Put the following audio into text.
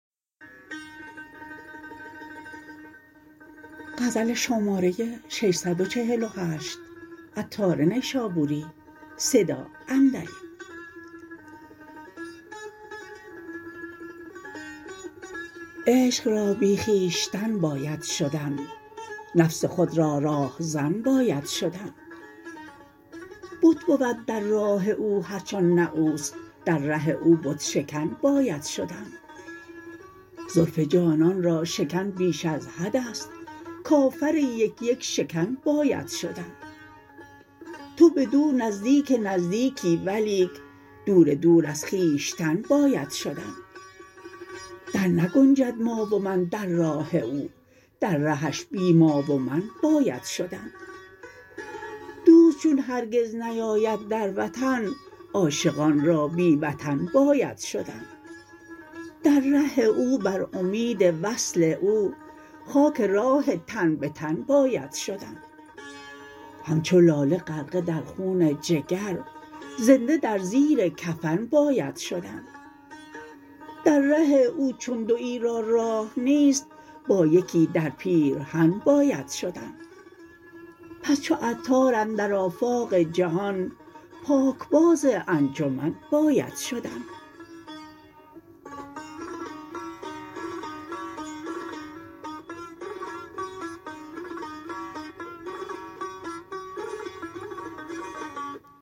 عشق را بی خویشتن باید شدن نفس خود را راهزن باید شدن بت بود در راه او هرچه آن نه اوست در ره او بت شکن باید شدن زلف جانان را شکن بیش از حد است کافر یک یک شکن باید شدن تو بدو نزدیک نزدیکی ولیک دور دور از خویشتن باید شدن در نگنجد ما و من در راه او در رهش بی ما و من باید شدن دوست چون هرگز نیاید در وطن عاشقان را بی وطن باید شدن در ره او بر امید وصل او خاک راه تن به تن باید شدن همچو لاله غرقه در خون جگر زنده در زیر کفن باید شدن در ره او چون دویی را راه نیست با یکی در پیرهن باید شدن پس چو عطار اندر آفاق جهان پاکباز انجمن باید شدن